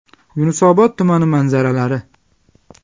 Yunusobod tumani manzaralari.